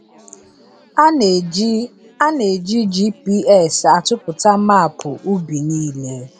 A na-eji A na-eji GPS atụpụta maapụ ubi niile.